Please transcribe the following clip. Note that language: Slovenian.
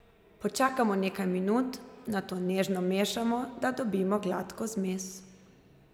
Počakamo nekaj minut, nato nežno mešamo, da dobimo gladko zmes.